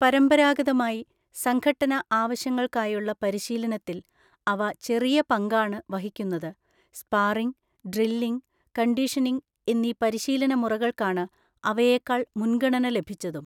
പരമ്പരാഗതമായി, സംഘട്ടന ആവശ്യങ്ങൾക്കായുള്ള പരിശീലനത്തിൽ അവ ചെറിയ പങ്കാണ് വഹിക്കുന്നത്, സ്പാറിംഗ്, ഡ്രില്ലിംഗ്, കണ്ടീഷനിംഗ് എന്നീ പരിശീലനമുറകൾക്കാണ് അവയേക്കാൾ മുൻഗണന ലഭിച്ചതും.